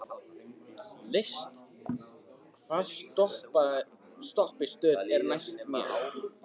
List, hvaða stoppistöð er næst mér?